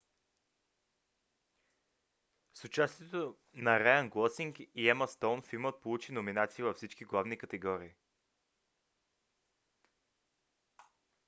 с участието на райън гослинг и ема стоун филмът получи номинации във всички главни категории